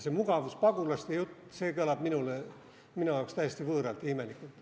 See mugavuspagulaste jutt kõlab minu jaoks täiesti võõralt ja imelikult.